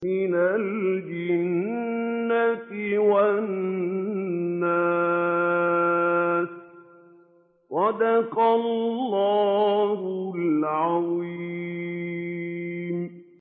مِنَ الْجِنَّةِ وَالنَّاسِ